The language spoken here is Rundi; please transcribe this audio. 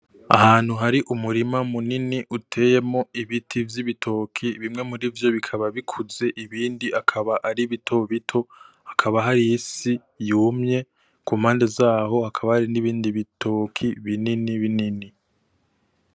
Ahantu hari umurima munini uteyemwo ibiti vy’ibitoke, bimwe muri vyo bikaba bikuze ibindi akaba ari bitobito, hakaba hari isi yumye ku mpande zaho hakaba hari n’ibindi ibitoke binini binini.